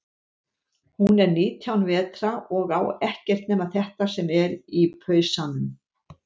Hún er nítján vetra og á ekkert nema þetta sem er í pausanum.